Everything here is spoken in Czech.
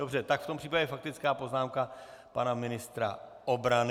Dobře, tak v tom případě faktická poznámka pana ministra obrany.